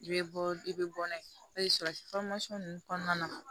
I bɛ bɔ i bɛ bɔ n'a ye o ye sɔrɔsi ninnu kɔnɔna na